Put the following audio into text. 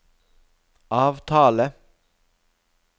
avtale